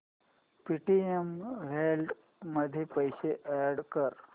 Paytm wallet मध्ये पैसे add कर